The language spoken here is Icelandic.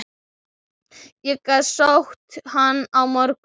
Ég get sótt hann á morgun.